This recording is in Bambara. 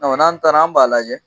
N'an taara an b'a lajɛ